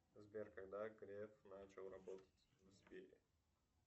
сбер когда греф начал работать в сбере